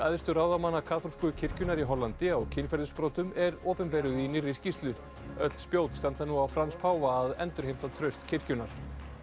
æðstu ráðamanna kaþólsku kirkjunnar í Hollandi á kynferðisbrotum er opinberuð í nýrri skýrslu öll spjót standa nú á Frans páfa að endurheimta traust kirkjunnar